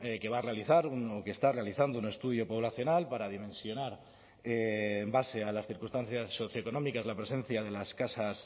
que va a realizar un que está realizando un estudio poblacional para dimensionar en base a las circunstancias socioeconómicas la presencia de las casas